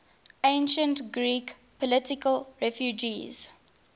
ancient greek political refugees